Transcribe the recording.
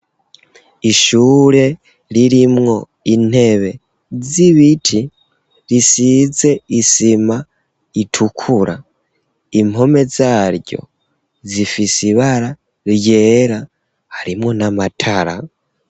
Ishure ririmwo intebe z'ibiti, risize isima itukura. Impome zaryo zifise ibara ryera, harimwo n'amatara.